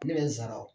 Ne bɛ n sara